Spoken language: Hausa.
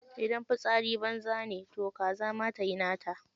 Idan fitsari banza ne toh kaza ma tayi nata.